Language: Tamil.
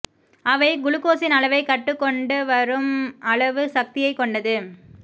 அவை குளுகோஸின் அளவை கட்டுக் கொண்டு வரும் அளவு சக்தியைக் கொண்டது